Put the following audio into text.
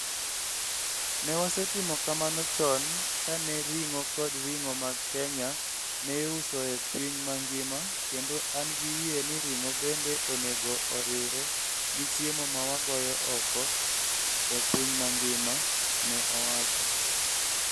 Ne wasetimo kamano chon kane ring'o kod ring'o mag Kenya ne iuso e piny mangima kendo an gi yie ni ring'o bende onego oriwre gi chiemo ma wagoyo oko e piny mangima, ne owacho.